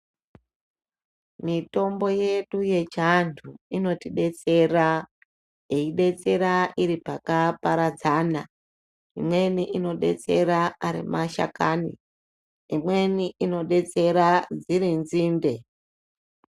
Mitombo yedu yechiantu inotidetsera, yeidetsera iri pakaparadzana. Imweni inodetsera ari mashakani, imweni inodetsera dziri nzinde.